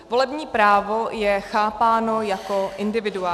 Volební právo je chápáno jako individuální.